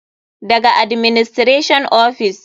Daga administration ofis.